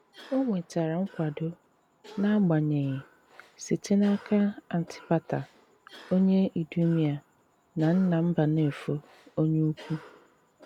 O nwetère nkwàdò, n’agbànyeghi, site n'aka Àntìpàtà, onye Ìdùmèà na nnà Mbànéfò Onye Ukwù.